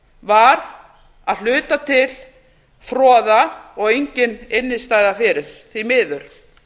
var að hluta til froða og engin innstæða fyrir því miður